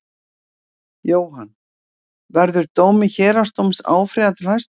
Jóhann: Verður dómi héraðsdóms áfrýjað til Hæstaréttar?